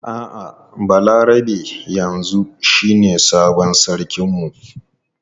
A'a Balarabe yanzu shine sabon sarkin mu.